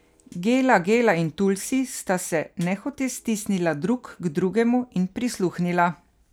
Gela Gela in Tulsi sta se nehote stisnila drug k drugemu in prisluhnila.